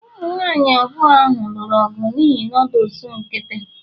ụmụ nwanyị abụọ ahụ lụrụ ọgụ n'ihi noodles nkịtị